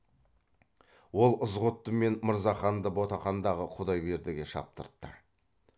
ол ызғұтты мен мырзаханды ботақандағы құдайбердіге шаптыртты